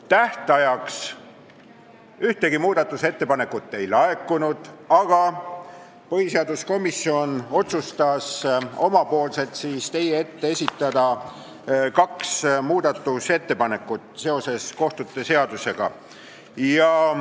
Tähtajaks ühtegi muudatusettepanekut ei olnud laekunud, aga põhiseaduskomisjon otsustas ise teie ette tuua kaks muudatusettepanekut kohtute seaduse kohta.